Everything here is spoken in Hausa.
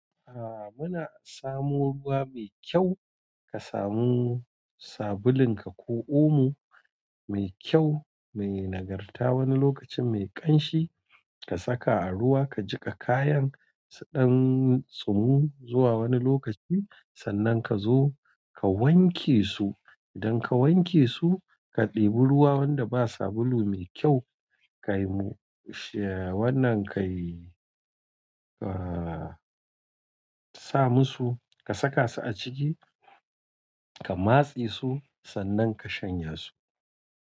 A'a muna samo ruwa mai kyau, ka samu sabulun ka ko omo mai kyau mai nagarta wani lokacin mai ƙanshi ka saka a ruwa ka jiƙa kayanka, sannan tsumu zuwa wani lokaci sannan ka zo ka wanke su. Idan ka wanke su ka ɗebi ruwa wanda ba sabulu mai kyau ka saka su a ciki ka matse su sannan ka shanya su.